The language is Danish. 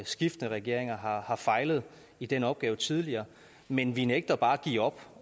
skiftende regeringer har har fejlet i den opgave tidligere men vi nægter bare at give op